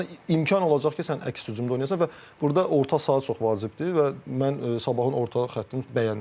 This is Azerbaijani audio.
Yəni imkan olacaq ki, sən əks hücumda oynayasan və burda orta saha çox vacibdir və mən sabahın orta xəttini bəyənirəm.